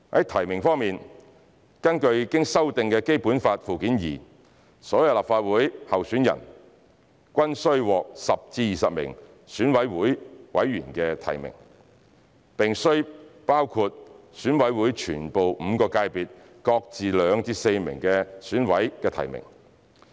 提名方面，根據經修訂的《基本法》附件二，所有立法會候選人均須獲10至20名選委會委員提名，並須包括選委會全部5個界別各自2至4名選委的提名。